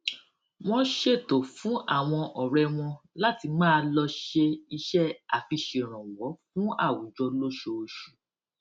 wón ṣètò fún àwọn òré wọn láti máa lọ ṣe iṣé àfiṣèrànwó fún àwùjọ lóṣooṣù